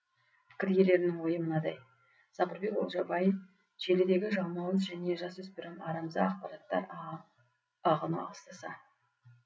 пікір иелерінің ойы мынадай сабырбек олжабай желідегі жалмауыз және жасөспірім арамза ақпараттар ағыны аласталса